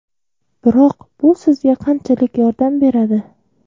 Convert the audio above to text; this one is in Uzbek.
Biroq bu sizga qanchalik yordam beradi?